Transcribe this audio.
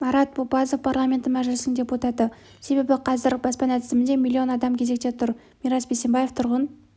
марат бопазов парламенті мәжілісінің депутаты себебі қазір баспана тізімінде миллион адам кезекте тұр мирас бейсембаев тұрғын